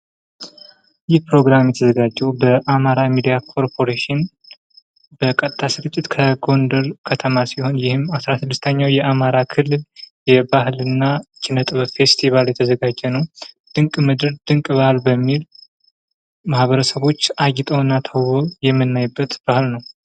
ይህ ፕሮግራም የተዘጋጀዉ በአማራ ሚዲያ ኮርፖሬሽን በቀጥታ ስርጭት ከጎንደር ከተማ ሲሆን ይህም 16ኛዉ የአማራ ክልል የባህል እና ኪነ-ጥበብ ፌስትባል ሲሆን "ድንቅ ምድር ድንቅ ባህል" በሚል ማህበረሰቦች አምረዉና ተዉበዉ የሚታዩበት ቀን ነዉ።